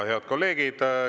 Head kolleegid!